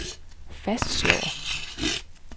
fastslår